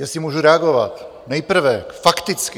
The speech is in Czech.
Jestli můžu reagovat, nejprve fakticky.